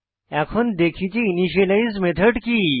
এখন দেখি যে ইনিশিয়ালাইজ মেথড কি